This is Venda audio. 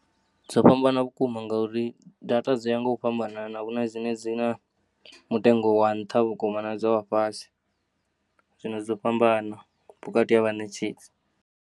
Dzo fhambana vhukuma ngauri data dziya ngo fhambanana huna dzine dzina mutengo wa nnṱha vhukuma nadza wa fhasi, zwino dzo fhambana vhukati ha vha netshedzi.